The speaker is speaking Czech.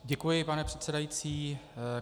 Děkuji, pane předsedající.